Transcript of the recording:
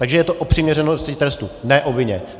Takže je to o přiměřenosti trestu, ne o vině.